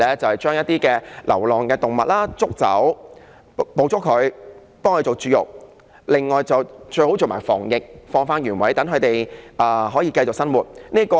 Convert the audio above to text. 就是捕捉一些流浪動物，為牠們絕育，最好再做防疫，然後放回原處，讓牠們繼續生活。